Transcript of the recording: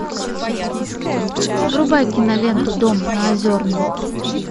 врубай киноленту дом на озерной